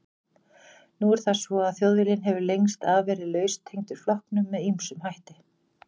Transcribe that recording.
Nú er það svo að Þjóðviljinn hefur lengst af verið laustengdur flokknum með ýmsum hætti.